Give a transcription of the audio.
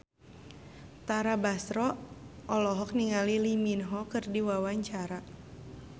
Tara Basro olohok ningali Lee Min Ho keur diwawancara